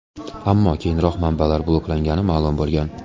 Ammo keyinroq manbalar bloklangani ma’lum bo‘lgan.